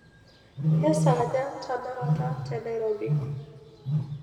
kesaaja tenakata te nairobi